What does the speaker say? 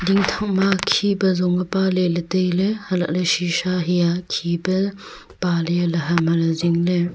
ding thak ma khe pe song a pale le tailey halah le sisha he a khe pe pale le ham hale zingley.